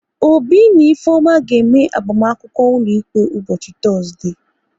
Obi na Ifeoma ga-eme agbamakwụkwọ ụlọikpe ụbọchị Tọzdee